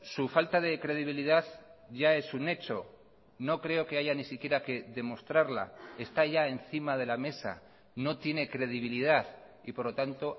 su falta de credibilidad ya es un hecho no creo que haya ni siquiera que demostrarla está ya encima de la mesa no tiene credibilidad y por lo tanto